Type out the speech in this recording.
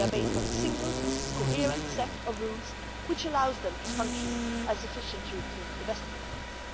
They are based on a single, coherent set of rules which allow them to function as efficient European investment funds.